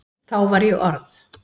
Þá var ég orð